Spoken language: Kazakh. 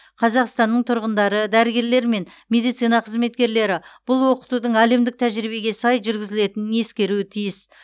қазақстанның тұрғындары дәрігерлері мен медицина қызметкерлері бұл оқытудың әлемдік тәжірибеге сай жүргізілетінін ескеруі тиіс